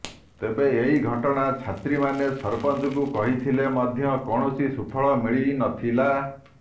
ତେବେ ଏହି ଘଟଣା ଛାତ୍ରୀମାନେ ସରପଞ୍ଚକୁ କହିଥିଲେ ମଧ୍ୟ କୌଣସି ସୁଫଳ ମିଳିନଥିଲା